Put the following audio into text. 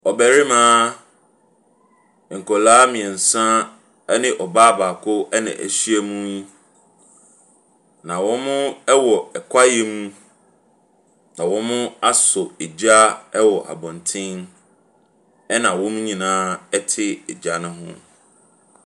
Ɔbarima, nkwadaa mmiɛnsa ne ɔbaa baako na ahyia mu yi, na wɔwɔ kwaeɛ mu na wɔasɔ gya wɔ abɔnten na wɔn nyinaa te gya ne ho.